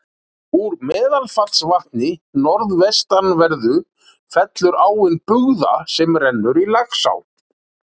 Úr Meðalfellsvatni norðvestanverðu fellur áin Bugða sem rennur í Laxá.